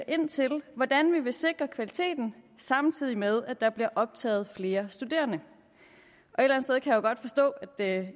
ind til hvordan vi vil sikre kvaliteten samtidig med at der bliver optaget flere studerende og jo godt forstå at